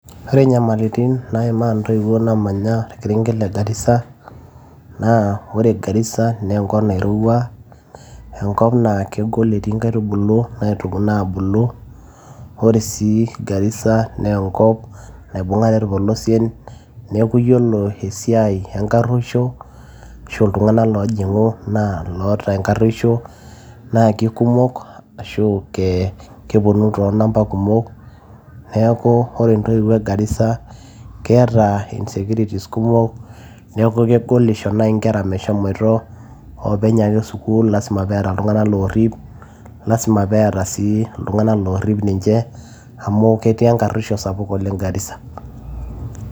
ore inyamalitin naimaa intoiwuo naamanya orkerenget le garissa aa ore garissa naa enkop nairowua enkop naa kegol etii inkaitubulu naabulu ore sii garissa naa enkop naibung'are irpolosien neeku yiolo esiai enkarruoshi ashu iltung'anak loojing'u naa loota enkarruoisho naa kikumok ashu keponu too nampa kumok neeku ore intoiwuo e garissa keeta insecurities kumok neeku kegol isho naaji inkera meshomoito oopeny ake sukuul lasima peeta iltung'anak loorrip lasima peeta sii iltung'anak loorrip ninche amu ketii enkarruoisho sapuk garissa.